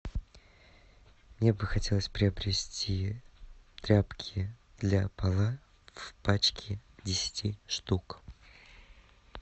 мне бы хотелось приобрести тряпки для пола в пачке десяти штук